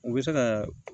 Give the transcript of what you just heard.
U bɛ se ka